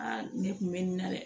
ne kun bɛ nin na dɛ